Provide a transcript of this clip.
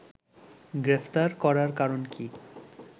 গ্রেপ্তার করার কারণ কী